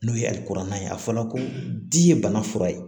N'o ye kuranna ye a fɔra ko di ye bana fura ye